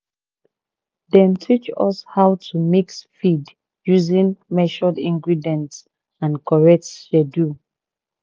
dem teach us how to mix feed using measured ingredients and correct schedule